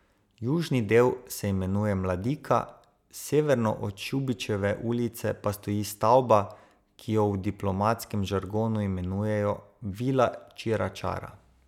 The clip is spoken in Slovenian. Južni del se imenuje Mladika, severno od Šubičeve ulice pa stoji stavba, ki jo v diplomatskem žargonu imenujejo Vila Čira čara.